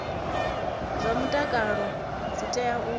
zwa mutakalo dzi tea u